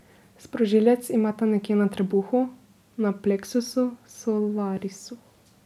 Sprožilec imata nekje na trebuhu, na pleksusu solarisu.